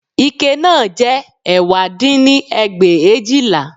Ike náà jẹ́ ẹ̀wá dín ní ẹgbẹ̀éjìlá